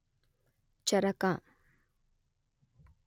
ಚರಕ